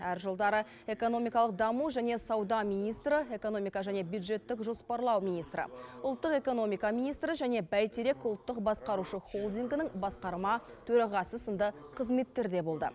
әр жылдары экономикалық даму және сауда министрі экономика және бюджеттік жоспарлау министрі ұлттық экономика министрі және бәйтерек ұлттық басқарушы холдингінің басқарма төрағасы сынды қызметтерде болды